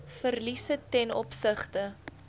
verliese ten opsigte